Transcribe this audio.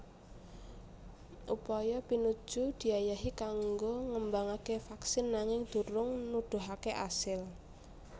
Upaya pinuju diayahi kanggo ngembangaké vaksin nanging durung nuduhaké asil